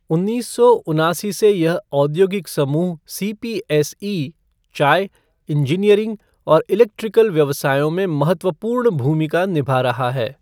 उन्नीस सौ उनासी से यहऔद्योगिक समूह सीपीएसई, चाय, इंजीनियरिंग और इलेक्ट्रिकल व्यवसायों में महत्वपूर्ण भूमिका निभा रहा है।